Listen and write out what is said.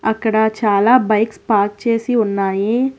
అక్కడ చాలా bikes park చేసి ఉన్నాయి.